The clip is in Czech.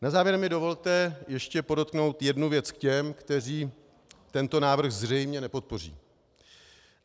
Na závěr mi dovolte ještě podotknout jednu věc k těm, kteří tento návrh zřejmě nepodpoří.